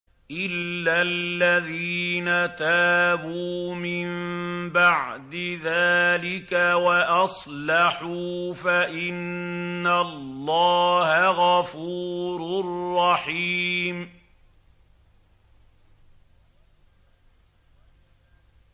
إِلَّا الَّذِينَ تَابُوا مِن بَعْدِ ذَٰلِكَ وَأَصْلَحُوا فَإِنَّ اللَّهَ غَفُورٌ رَّحِيمٌ